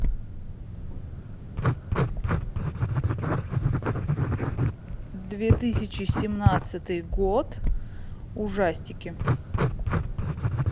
две тысячи семнадцатый год ужастики